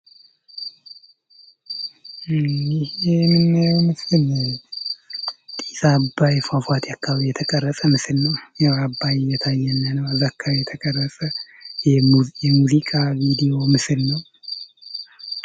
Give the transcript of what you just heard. እዚህ የምናየው ምስል ጢስ አባይ ፏፏቴ አካባቢ የተቀረጸ ምስል ነው እየታየ ነው ማለት ነው እዛ አካባቢ የተቀረፀ የሙዚቃ እንዲሁም ምስል ነው።